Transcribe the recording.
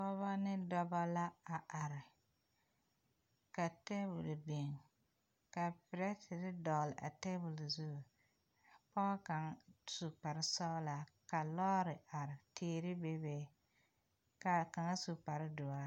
Pɔgeba ne dɔba la a are ka tabol biŋ ka perɛtere dɔgle a tabol zu ka pɔge kaŋ su kparesɔglaa ka lɔɔre are teere bebe ka kaŋa su kparedoɔre.